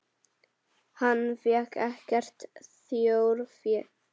Hann fékk ekkert þjórfé.